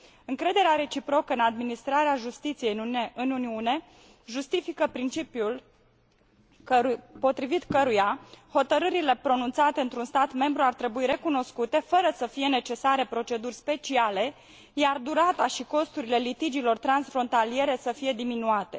Încrederea reciprocă în administrarea justiției în Uniune justifică principiul potrivit căruia hotărârile pronunțate într un stat membru ar trebui recunoscute fără să fie necesare proceduri speciale, iar durata și costurile litigiilor transfrontaliere ar trebui să fie diminuate.